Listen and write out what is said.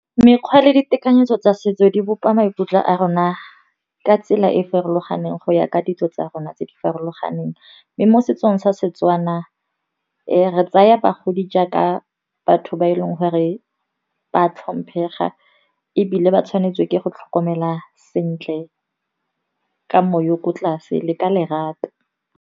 Mekgwa le ditekanyetso tsa setso di bopa maikutlo a rona ka tsela e e farologaneng go ya ka ditso tsa rona tse di farologaneng. Mme mo setsong sa Setswana re tsaya bagodi jaaka batho ba e leng gore ba tlhomphega, ebile ba tshwanetswe ke go tlhokomelwa sentle ka moya o ko tlase le ka lerato.